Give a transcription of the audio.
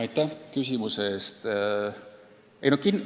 Aitäh küsimuse eest!